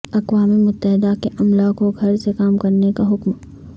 اقوام متحدہ کے عملہ کو گھر سے کام کرنے کا حکم